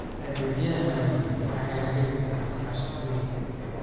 Adeegyada maaliyadeed waxaa laga heli karaa iskaashatooyinka.